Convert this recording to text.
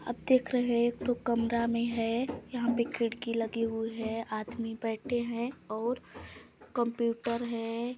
--आप देख रहे है यह कमरा में है यहाँ पे खिड़की लगी हुई है आदमी बैठे है और कंप्यूटर है।